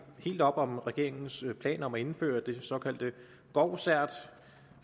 helt op om regeringens plan om at indføre det såkaldte govcert